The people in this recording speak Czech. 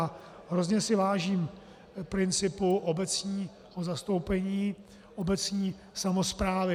A hrozně si vážím principu obecního zastoupení, obecní samosprávy.